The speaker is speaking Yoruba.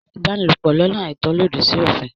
Ìbánilòpò lọ́nà àìtọ́ lòdì sí òfìn.